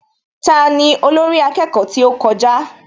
Tani olórí akẹ́kọ̀ọ́ tí ó kọjá?